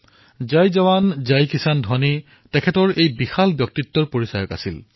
তেওঁৰ জয় জৱান জয় কিসানৰ ধ্বনি তেওঁৰ বিৰাট ব্যক্তিত্বৰ পৰিচয় আছিল